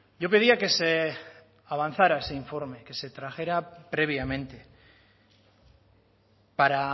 yo pedía que se avanzara ese informe que se trajera previamente para